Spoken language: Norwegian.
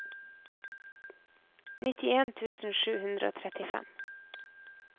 nittien tusen sju hundre og trettifem